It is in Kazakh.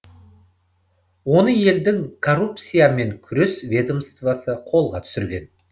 оны елдің коррупциямен күрес ведомствосы қолға түсірген